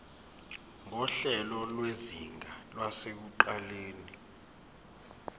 nguhlelo lwezinga lasekuqaleni